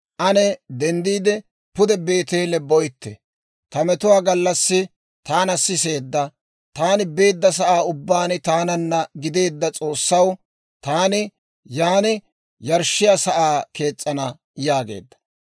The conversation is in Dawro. Ane denddiide, pude Beeteele boytte; ta metuwaa gallassi taana siseedda, taani beedda sa'aan ubbaan taananna gideedda S'oossaw, taani yan yarshshiyaa sa'aa kees's'ana» yaageedda.